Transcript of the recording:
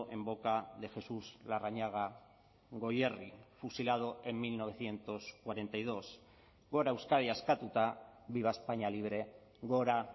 en boca de jesús larrañaga goierri fusilado en mil novecientos cuarenta y dos gora euskadi askatuta viva españa libre gora